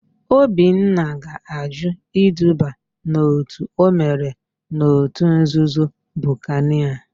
Obinna ga-àjụ́ iduba n'òtù o mere n'òtù nzuzo Bukanịa.